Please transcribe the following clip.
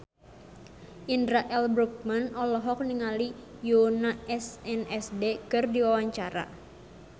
Indra L. Bruggman olohok ningali Yoona SNSD keur diwawancara